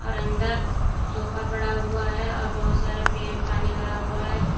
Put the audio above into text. अंदर सोफा पड़ा हुआ है और बहोत सारे पेड़ पानी भरा हुआ है।